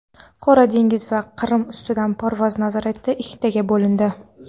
Qora dengiz va Qrim ustidan parvoz nazorati ikkiga bo‘lindi.